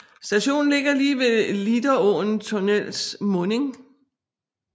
Stationen ligger lige ved Lieråsen tunnels munding